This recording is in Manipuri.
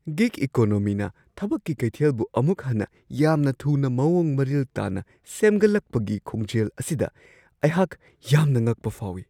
ꯒꯤꯒ ꯏꯀꯣꯅꯣꯃꯤꯅ ꯊꯕꯛꯀꯤ ꯀꯩꯊꯦꯜꯕꯨ ꯑꯃꯨꯛ ꯍꯟꯅ ꯌꯥꯝꯅ ꯊꯨꯅ ꯃꯋꯣꯡ ꯃꯔꯤꯜ ꯇꯥꯅ ꯁꯦꯝꯒꯠꯂꯛꯄꯒꯤ ꯈꯣꯡꯖꯦꯜ ꯑꯁꯤꯗ ꯑꯩꯍꯥꯛ ꯌꯥꯝꯅ ꯉꯛꯄ ꯐꯥꯎꯋꯤ ꯫